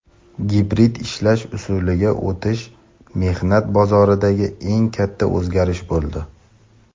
gibrid ishlash usuliga o‘tish mehnat bozoridagi eng katta o‘zgarish bo‘ldi.